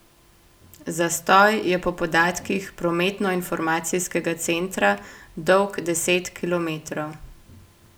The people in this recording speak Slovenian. Zastoj je po podatkih prometnoinformacijskega centra dolg deset kilometrov.